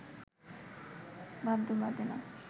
বাদ্য বাজে না